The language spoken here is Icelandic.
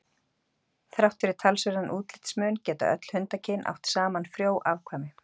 Þrátt fyrir talsverðan útlitsmun geta öll hundakyn átt saman frjó afkvæmi.